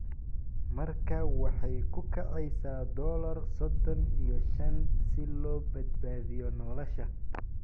Markaa waxay ku kacaysaa dollar sodon iyo shaan si loo badbaadiyo nolosha.